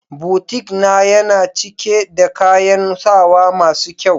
"boutique"na, Yana cike da kayan sawa masu kyau.